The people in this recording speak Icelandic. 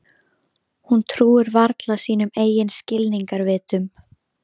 Hún trúir varla sínum eigin skilningarvitum.